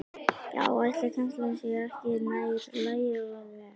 Já, ætli kennslan sé ekki nær lagi og nytsamlegri?